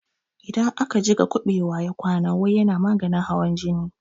Idan aka jiƙa buɓewa ya kwana wai yana maganin hawan jini